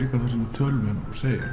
tölum um og segjum